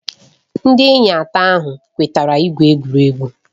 Ndị enyi atọ ahụ kwetara igwu egwuregwu.